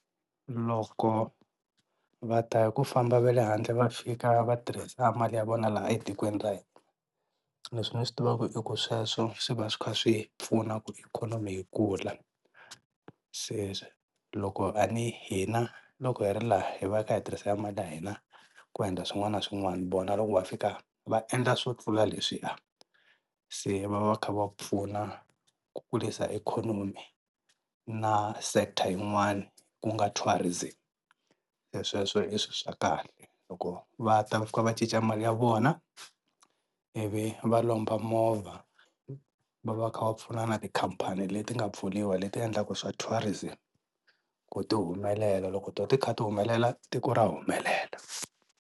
Loko va ta hi ku famba va le handle va fika va tirhisa mali ya vona laha etikweni ra hina leswi ni swi tivaka i ku sweswo swi va swi kha swi pfuna ku ikhonomi yi kula. Se loko a ni hina loko hi ri laha hi va hi kha hi tirhisa mali ya hina ku endla swin'wana na swin'wana vona loko va fika va endla swo tlula leswiya se va va va kha va pfuna ku kurisa ikhonomi na sector yin'wana ku nga tourism, se sweswo i swilo swa kahle loko va ta va fika va cinca mali ya vona ivi va lomba movha va va kha va pfuna na tikhampani leti nga pfuriwa leti endlaka swa tourism ku ti humelela loko to ti kha ti humelela tiko ra humelela.